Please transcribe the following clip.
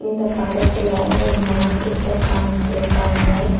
இந்தப் படத்துல ஒரு மார்க்கெட்டெ காம்சிருக்காங்க.